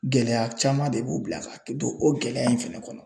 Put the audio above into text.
Gɛlɛya caman de b'u bila don o gɛlɛya in fɛnɛ kɔnɔ.